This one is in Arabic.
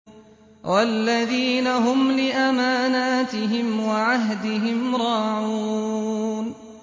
وَالَّذِينَ هُمْ لِأَمَانَاتِهِمْ وَعَهْدِهِمْ رَاعُونَ